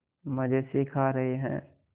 मज़े से खा रहे हैं